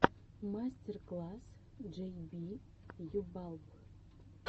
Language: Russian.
мастер класс джей би ю балб